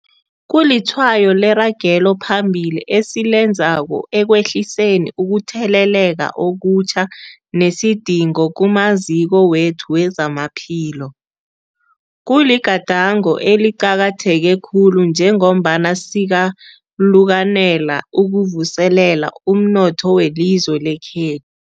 Kulitshwayo leragelo phambili esilenzako ekwehliseni ukutheleleka okutjha nesidingo kumaziko wethu wezamaphilo. Kuligadango eliqakatheke khulu njengombana sikalukanela ukuvuselela umnotho welizwe lekhe